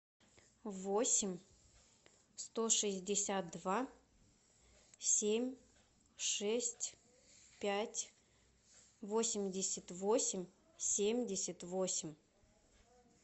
восемь сто шестьдесят два семь шесть пять восемьдесят восемь семьдесят восемь